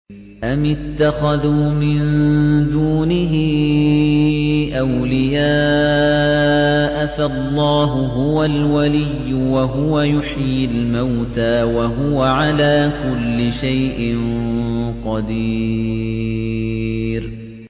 أَمِ اتَّخَذُوا مِن دُونِهِ أَوْلِيَاءَ ۖ فَاللَّهُ هُوَ الْوَلِيُّ وَهُوَ يُحْيِي الْمَوْتَىٰ وَهُوَ عَلَىٰ كُلِّ شَيْءٍ قَدِيرٌ